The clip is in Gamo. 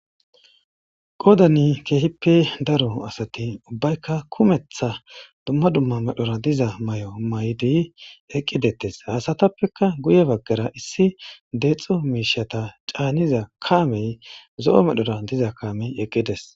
Qodani keehippe daro asatin ubbaykka kumetha dumma dumma medhora diza may7o maydi eqqidettes. Haasatappeka guye baggara issi deexo miishata caaniza kaamey zo7o medhora diza kaamey eqqides.